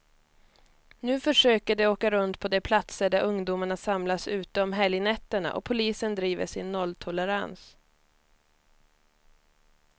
Nu försöker de åka runt på de platser där ungdomarna samlas ute om helgnätterna, och polisen driver sin nolltolerans.